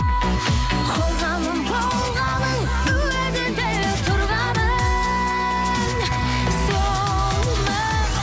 қорғаным болғаның уәдеде тұрғаның сол ма